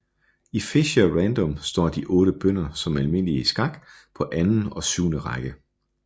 I Fischer Random står de otte bønder som i almindelig skak på anden og syvende række